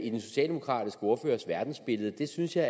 i den socialdemokratiske ordførers verdensbillede det synes jeg